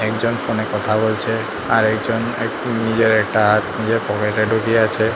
একজন ফোন এ কথা বলছে আরেকজন একটু নিজের একটা হাত নিজের পকেট এ ঢুকিয়ে আছে।